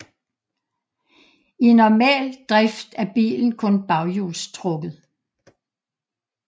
I normal drift er bilen kun baghjulstrukket